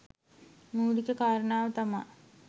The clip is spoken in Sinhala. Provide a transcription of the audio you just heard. මූලික කාරණාව තමා